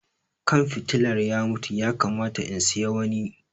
Kan fitilar ya mutu, ya kamata in siya wani.